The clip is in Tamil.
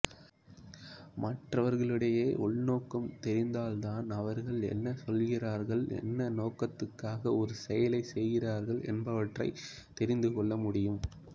மற்றவர்களுடைய உள்நோக்கம் தெரிந்தால்தான் அவர்கள் என்ன சொல்கிறார்கள் என்ன நோக்கத்துக்காக ஒரு செயலைச் செய்கிறார்கள் என்பனவற்றைத் தெரிந்து கொள்ள முடியும்